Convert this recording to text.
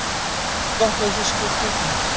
Gott með fiski og kjúklingi